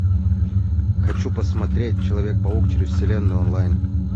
хочу посмотреть человек паук через вселенную онлайн